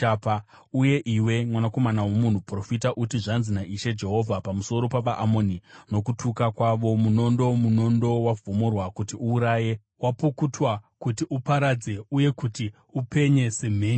“Uye iwe, mwanakomana womunhu, profita uti, ‘Zvanzi naIshe Jehovha pamusoro pavaAmoni nokutuka kwavo: “ ‘Munondo, munondo, wavhomorwa kuti uuraye, wapukutwa kuti uparadze uye kuti upenye semheni!